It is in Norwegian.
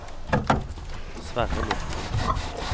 Sverre Morken